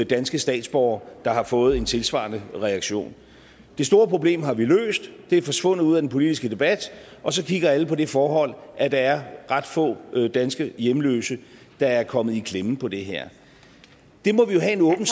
danske statsborgere der har fået en tilsvarende reaktion det store problem har vi løst det er forsvundet ud af den politiske debat og så kigger alle på det forhold at der er ret få danske hjemløse der er kommet i klemme på det her det må vi jo have en